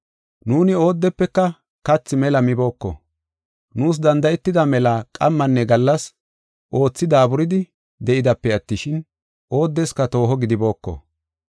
Nuuni oodefeka kathi mela mibooko. Nuus danda7etida mela qammanne gallas oothi daaburidi de7idape attishin, oodeska tooho gidibooko.